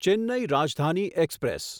Chennai Rajdhani express